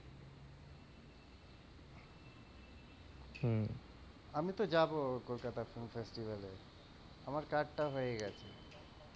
আমি তো যাব কলকাতা film festival এ আমার card টা হয়ে গেছে,